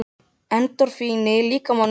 Endorfínið í líkamanum sá til þess.